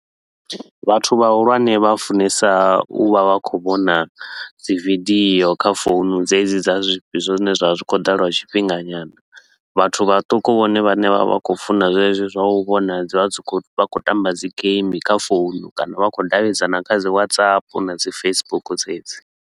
Vhathu vhahulwane vha funesa u vha vha khou vhona dzi vidiyo kha founu dzedzi dza zwifhi zwine zwa vha zwi khou ḓa lwa tshifhinga nyana. Vhathu vhaṱuku vhone vhane vha vha vha khou funa zwezwi zwa u vhona dzi vha dzi khou vha khou tamba dzi game kha founu kana vha khou davhidzana kha dzi Whatsapp na dzi Facebook dzedzi.